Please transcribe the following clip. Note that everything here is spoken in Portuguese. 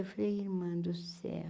Eu falei, irmã do céu,